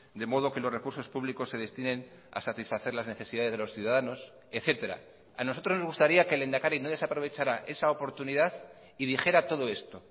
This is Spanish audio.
de modo que los recursos públicos se destinen a satisfacer las necesidades de los ciudadanos etcétera a nosotros nos gustaría que el lehendakari no desaprovechara esa oportunidad y dijera todo esto